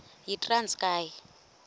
yitranskayi